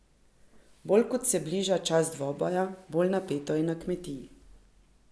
Bolj ko se bliža čas dvoboja, bolj napeto je na kmetiji.